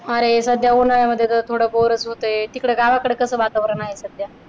अरे सध्या उन्हाळ्यामध्ये तर थोड होतय. तिकड गावाकड कसं वातावरण आहे सध्या